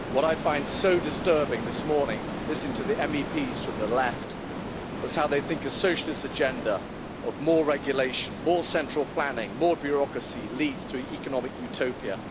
What I find so disturbing this morning, listening to the MEPs from the left, is how they think a socialist agenda of more regulation, more central planning and more bureaucracy leads to an economic utopia.